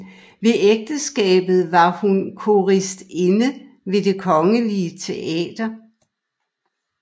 Ved ægteskabet var hun koristinde ved Det Kongelige Teater